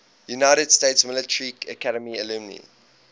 united states military academy alumni